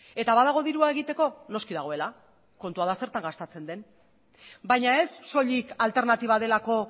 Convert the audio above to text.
eta badago dirua egiteko noski dagoela kontua da zertan gastatzen den baina ez soilik alternatiba delako